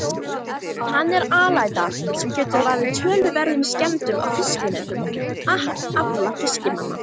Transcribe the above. Hann er alæta sem getur valdið töluverðum skemmdum á fiskinetum og afla fiskimanna.